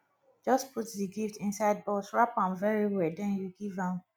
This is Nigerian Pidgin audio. just put the gift inside box wrap am very well den you give am